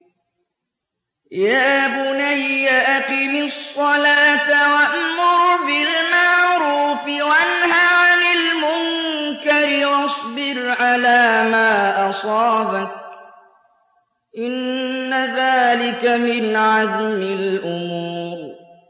يَا بُنَيَّ أَقِمِ الصَّلَاةَ وَأْمُرْ بِالْمَعْرُوفِ وَانْهَ عَنِ الْمُنكَرِ وَاصْبِرْ عَلَىٰ مَا أَصَابَكَ ۖ إِنَّ ذَٰلِكَ مِنْ عَزْمِ الْأُمُورِ